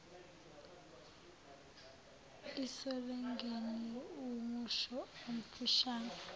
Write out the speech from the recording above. isilogeni wumusho omfishane